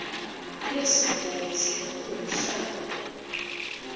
kulesigodzi lapho lomhlaba